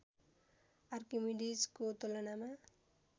आर्किमिडीजको तुलनामा